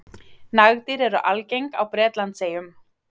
Nagdýr eru algeng á Bretlandseyjum.